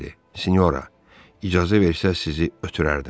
Sinora, icazə versəz sizi ötürərdim.